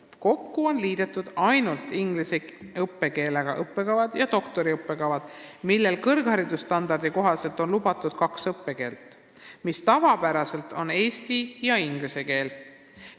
Kokku on liidetud ainult inglise õppekeelega õppekavad ja doktoriõppekavad, millel on kõrgharidusstandardi kohaselt lubatud kaks õppekeelt, mis on tavapäraselt eesti ja inglise keel.